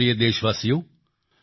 મારા પ્રિય દેશવાસીઓ